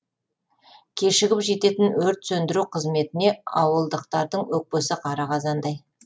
кешігіп жететін өрт сөндіру қызметіне ауылдықтардың өкпесі қара қазандай